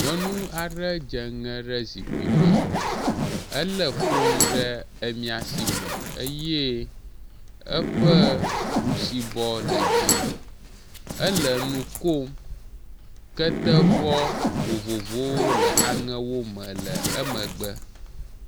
Nyɔnu aɖe dze ŋe ɖe zikpui me ele foni ɖe emia si me eye eƒe ɖusibɔ le dzi. Ele nu kom, ketevɔ vovovowo le aŋe me le emegbe.